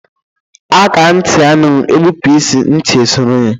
Akaá nti anụghị, egbụpụ isii nti esọrọ ya.